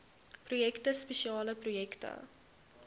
projekte spesiale projekte